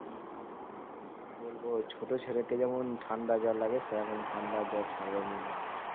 কি বলবো ছোট ছেলেকে যেমন ঠান্ডা জ্বর লাগে সেরকম ঠান্ডা জ্বর ছাড়া নাই।